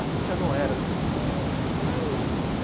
A Cíntia não era do samba entendeu.